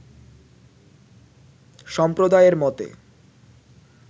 সম্প্রদায়ের মতে